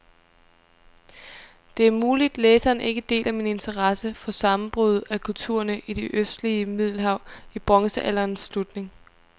Det er muligt, læseren ikke deler min interesse for sammenbruddet af kulturerne i det østlige middelhav i bronzealderens slutning.